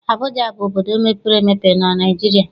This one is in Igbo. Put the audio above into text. Abụja bụ obodo mepere emepe na Naịjirịa.